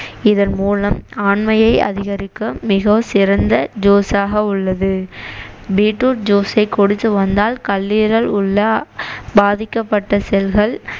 இதன் மூலம் ஆண்மையை அதிகரிக்க மிகவும் சிறந்த juice ஆக உள்ளது beet root juice ஐ குடிச்சு வந்தால் கல்லீரல் உள்ள பாதிக்கப்பட்ட செல்கள்